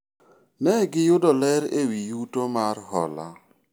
ne giyudo ler ewi yuto mar hola